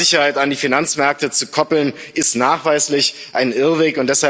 Soziale Sicherheit an die Finanzmärkte zu koppeln, ist nachweislich ein Irrweg.